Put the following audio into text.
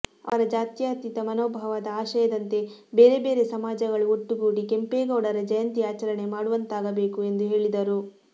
ಅವರ ಜಾತ್ಯಾತೀತ ಮನೋಭಾವದ ಆಶಯದಂತೆ ಬೇರೆ ಬೇರೆ ಸಮಾಜಗಳು ಒಟ್ಟುಗೂಡಿ ಕೆಂಪೇಗೌಡರ ಜಯಂತಿ ಆಚರಣೆ ಮಾಡುವಂತಾಗಬೇಕು ಎಂದು ಹೇಳಿದರು